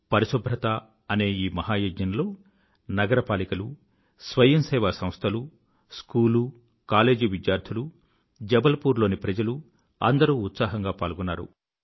పరిశుభ్రత అనే ఈ మహాయజ్ఞంలో నగరపాలికలు స్వయం సేవా సంస్థలు స్కూలుకాలేజీ విద్యార్థులు జబల్ పూర్ లోని ప్రజలు అందరూ ఉత్సాహంగా పాల్గొన్నారు